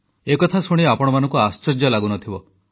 ଏକଥା ଶୁଣି ଆପଣମାନଙ୍କୁ ଆଶ୍ଚର୍ଯ୍ୟ ଲାଗୁ ନ ଥିବ